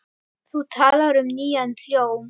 Þú talar um nýjan hljóm?